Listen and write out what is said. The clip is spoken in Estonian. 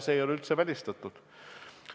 See ei ole üldse välistatud.